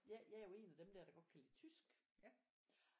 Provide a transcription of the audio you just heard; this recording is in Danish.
Jeg jeg er jo en af dem der der godt kan lide tysk